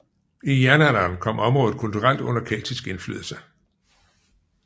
I jernalderen kom området kulturelt under keltisk indflydelse